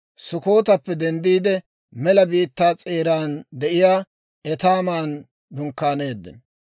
Sukkotappe denddiide, mela biittaa s'eeran de'iyaa Etaaman dunkkaaneeddino.